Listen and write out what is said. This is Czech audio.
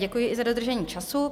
Děkuji i za dodržení času.